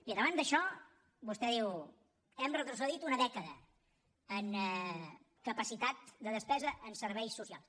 bé davant d’això vostè diu hem retrocedit una dècada en capacitat de despesa en serveis socials